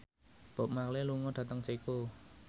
Bob Marley lunga dhateng Ceko